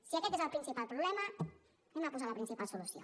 si aquest és el principal problema posem la principal solució